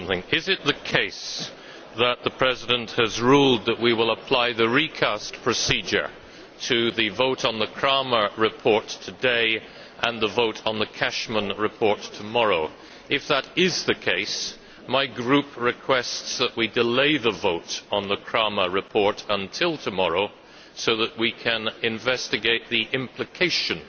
Is it the case that the President has ruled that we will apply the recast procedure to the vote on the Krahmer report today and the vote on the Cashman report tomorrow? If that is the case, my group requests that we delay the vote on the Krahmer report until tomorrow, so that we can investigate the implications